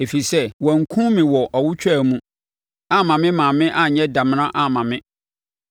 Ɛfiri sɛ, wankum me wɔ awotwaa mu amma me maame anyɛ damena amma me.